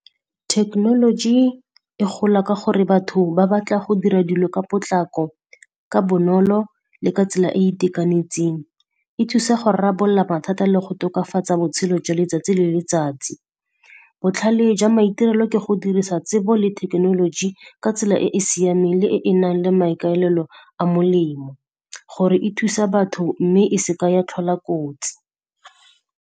Technology e gola ka gore batho ba batla go dira dilo ka potlako, ka bonolo le ka tsela e e itekanetseng. E thusa go rarabolla mathata le go tokafatsa botshelo jwa letsatsi le letsatsi. Botlhale jwa maitirelo ke go dirisa tsebo le thekenoloji ka tsela e e siameng le e e nang le maikaelelo a molemo gore e thusa batho, mme e seka ya tlhola kotsi.